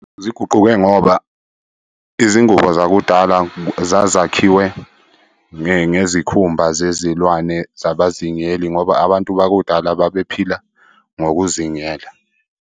Ziguquke ngoba izingubo zakudala zazakhiwe ngezikhumba zezilwane zabazingeli ngoba abantu bakudala babephila ngokuzingela.